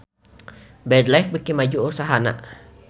Bread Life beuki maju usahana